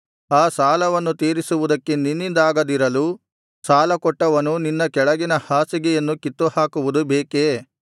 ಆ ಸಾಲವನ್ನು ತೀರಿಸುವುದಕ್ಕೆ ನಿನ್ನಿಂದಾಗದಿರಲು ಸಾಲಕೊಟ್ಟವನು ನಿನ್ನ ಕೆಳಗಿನ ಹಾಸಿಗೆಯನ್ನು ಕಿತ್ತುಹಾಕುವುದು ಬೇಕೇ